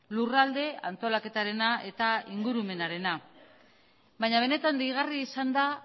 lurralde antolaketarena eta ingurumenarena baina benetan deigarria izan da